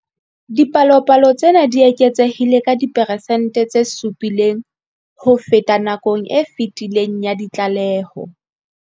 Dipalopalo tsena di eketsehile ka diperesente tse 7 ho feta nakong e fetileng ya ditlaleho.